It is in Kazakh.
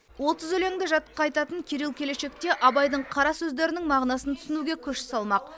отыз өлеңді жатқа айтатын кирилл келешекте абайдың қара сөздерінің мағынасын түсінуге күш салмақ